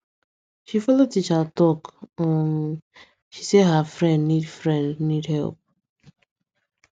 she follow teacher talk um he say her friend need friend need help